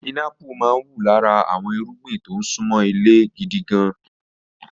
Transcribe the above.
Pinápù máa ń wù lára àwọn irúgbìn tó ń ṣúnmọ́ ilẹ̀ gidi gan-an.